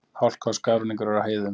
Hálka og skafrenningur er á heiðum